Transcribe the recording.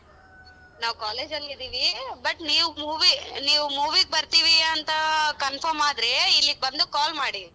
ನಾವು college ಅಲ್ಲಿ ಇದೀವಿ but ನೀವು movie ನೀವು movie ಗ್ ಬರ್ತೀವಿ ಅಂತ confirm ಆದ್ರೆ ಇಲ್ಲಿಗ್ ಬಂದು call ಮಾಡಿ.